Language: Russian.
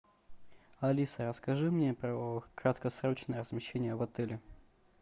алиса расскажи мне про краткосрочное размещение в отеле